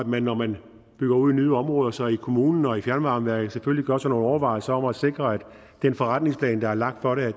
man når man bygger ud i nye områder så i kommunen og i fjernvarmeværket selvfølgelig gør sig nogle overvejelser om at sikre at den forretningsplan der er lagt for det